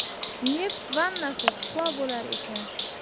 Neft vannasi shifo bo‘lar ekan.